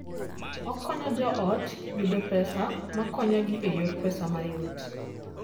Okonyo joot yudo pesa makonyogi e yor pesa mayot.